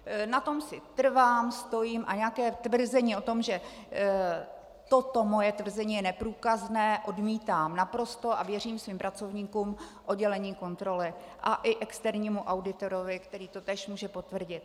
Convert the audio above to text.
Na tom si trvám, stojím a nějaké tvrzení o tom, že toto moje tvrzení je neprůkazné, odmítám naprosto a věřím svým pracovníkům v oddělení kontroly a i externímu auditorovi, který to též může potvrdit.